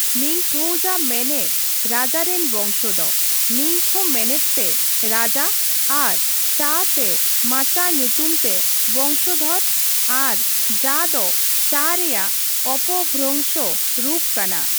ᱱᱤᱝᱛᱷᱳᱣᱡᱟ ᱢᱮᱱᱮᱫ ᱨᱟᱡᱟ ᱨᱮᱱ ᱵᱚᱝᱥᱚ ᱫᱚ, ᱱᱤᱝᱛᱷᱳ ᱢᱮᱱᱮᱫ ᱛᱮ ᱨᱟᱡᱟ ᱟᱨ ᱪᱟ ᱥᱮ ᱢᱟᱪᱟ ᱧᱩᱛᱩᱢ ᱛᱮ ᱵᱚᱝᱥᱚ ᱫᱷᱚᱨ ᱟᱨ ᱡᱟ ᱫᱚ ᱪᱟ ᱨᱮᱭᱟᱜ ᱚᱯᱚᱵᱷᱚᱨᱚᱝᱥᱚ ᱨᱩᱯ ᱠᱟᱱᱟ ᱾